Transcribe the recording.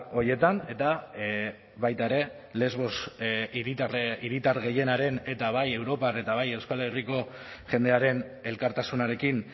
horietan eta baita ere lesbos hiritar gehienaren eta bai europan eta bai euskal herriko jendearen elkartasunarekin